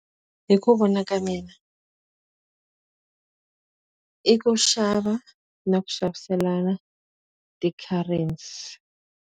Hi ku vona ka mina i ku xava na ku xaviselana ti-currency.